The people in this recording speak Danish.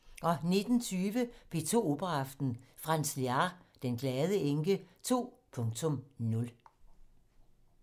19:20: P2 Operaaften - Franz Lehár: Den Glade Enke 2.0